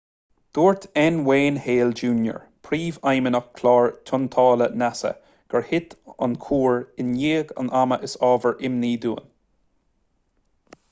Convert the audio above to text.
dúirt n wayne hale jr príomhfheidhmeannach chlár tointeála nasa gur thit an cúr i ndiaidh an ama is ábhar imní dúinn